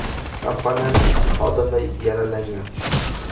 Kompaniyaning ikki xodimi yaralangan.